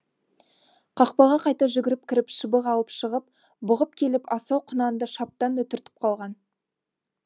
қақпаға қайта жүгіріп кіріп шыбық алып шығып бұғып келіп асау құнанды шаптан да түртіп қалған